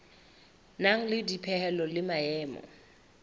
nang le dipehelo le maemo